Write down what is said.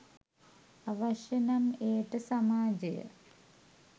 අවශ්‍ය නම් එයට සමාජය